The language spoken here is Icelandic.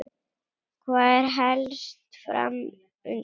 Hvað er helst fram undan?